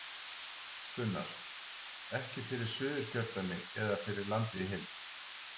Gunnar: Ekki fyrir Suðurkjördæmi eða ekki fyrir landið í heild?